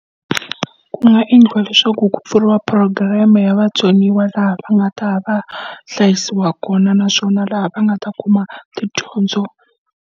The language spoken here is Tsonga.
Ku nga endliwa leswaku ku pfuriwa programme-e ya vatsoniwa laha va nga ta ya va hlayisiwa kona naswona laha va nga ta kuma tidyondzo.